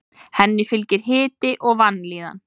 Henni fylgir hiti og vanlíðan.